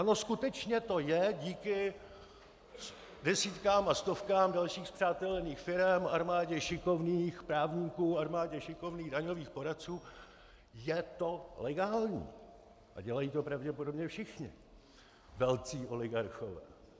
Ano, skutečně to je díky desítkám a stovkám dalších spřátelených firem, armádě šikovných právníků, armádě šikovných daňových poradců, je to legální a dělají to pravděpodobně všichni velcí oligarchové.